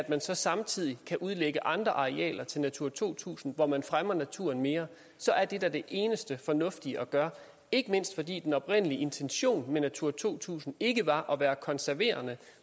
man så samtidig udlægger andre arealer til natura to tusind hvor man fremmer naturen mere så er det da det eneste fornuftige at gøre det ikke mindst fordi den oprindelige intention med natura to tusind ikke var at være konserverende